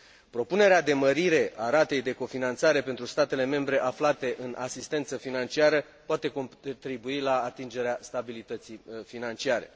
Propunerea de mărire a ratei de cofinanțare pentru statele membre aflate în asistență financiară poate contribui la atingerea stabilității financiare.